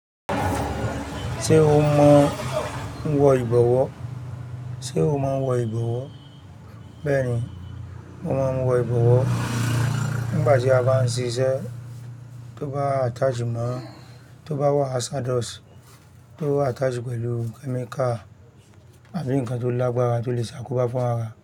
Ṣé o mọ wọ ìbọ̀wọ́? Ṣé o mọ wọ ìbọ̀wọ́? Bẹ́ẹ̀ni, mo mọ wọ ìbọ̀wọ́. Nígbà tí a bá ń ṣiṣẹ́ tó bá attach mọ́, tó bá wà hazardous, tó attach pẹ̀lú chemical àbí nǹkan tó lágbára tó lè ṣàkóbá fún ara.